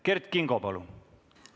Kert Kingo, palun!